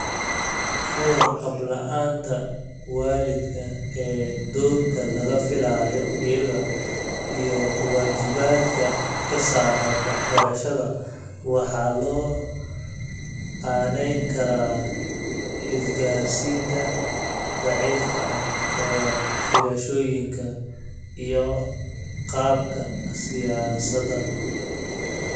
Ka warqab la'aanta waalidka ee doorka laga filayo iyaga, iyo waajibaadka ka saaran waxbarashada waxaa loo aaneyn karaa isgaarsiinta daciifka ah ee filashooyinkan iyo qaabka siyaasadda.